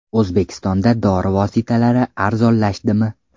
O‘zbekistonda dori vositalari arzonlashdimi?.